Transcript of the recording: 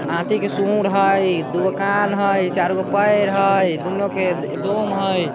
हाथी के सूंड हई। दुगो कान हई। चारगो पैर हई। दोनों के दोम हई।